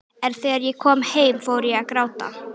En þegar ég kom heim fór ég að gráta.